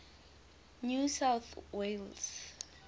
new south wales